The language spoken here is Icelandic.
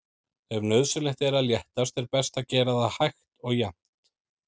Ef nauðsynlegt er að léttast er best að gera það hægt og jafnt.